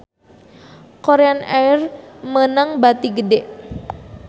Korean Air meunang bati gede